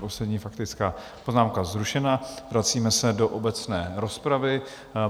Poslední faktická poznámka zrušena, vracíme se do obecné rozpravy.